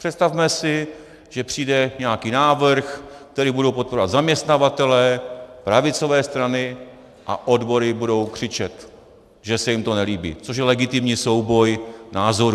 Představme si, že přijde nějaký návrh, který budou podporovat zaměstnavatelé, pravicové strany a odbory budou křičet, že se jim to nelíbí, což je legitimní souboj názorů.